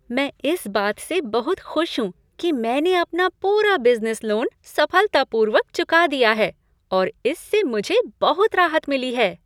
मैं इस बात से बहुत खुश हूँ कि मैंने अपना पूरा बिजनेस लोन सफलतापूर्वक चुका दिया है और इससे मुझे बहुत राहत मिली है।